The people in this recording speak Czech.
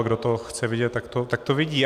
A kdo to chce vidět, tak to vidí.